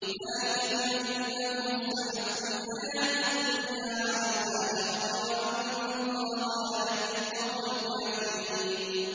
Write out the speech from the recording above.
ذَٰلِكَ بِأَنَّهُمُ اسْتَحَبُّوا الْحَيَاةَ الدُّنْيَا عَلَى الْآخِرَةِ وَأَنَّ اللَّهَ لَا يَهْدِي الْقَوْمَ الْكَافِرِينَ